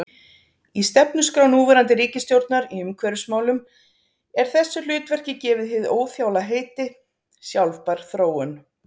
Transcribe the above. Í stefnuskrá núverandi ríkisstjórnar í umhverfismálum er þessu hlutverki gefið hið óþjála heiti: sjálfbær þróun.